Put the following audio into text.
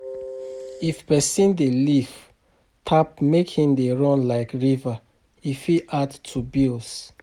If person dey leave tap make e dey run like river, e fit add to bills